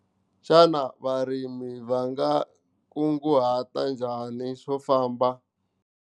Xana varimi va nga kunguhata njhani xo famba ?